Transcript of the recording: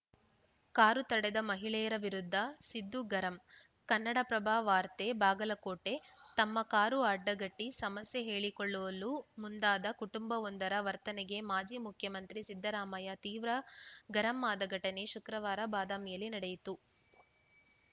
car ತಡೆದ ಮಹಿಳೆಯರ ವಿರುದ್ಧ ಸಿದ್ದು ಗರಂ ಕನ್ನಡಪ್ರಭ ವಾರ್ತೆ ಬಾಗಲಕೋಟೆ ತಮ್ಮ ಕಾರು ಅಡ್ಡಗಟ್ಟಿಸಮಸ್ಯೆ ಹೇಳಿಕೊಳ್ಳಲು ಮುಂದಾದ ಕುಟುಂಬವೊಂದರ ವರ್ತನೆಗೆ ಮಾಜಿ ಮುಖ್ಯಮಂತ್ರಿ ಸಿದ್ದರಾಮಯ್ಯ ತೀವ್ರ ಗರಂ ಆದ ಘಟನೆ ಶುಕ್ರವಾರ ಬಾದಾಮಿಯಲ್ಲಿ ನಡೆಯಿತು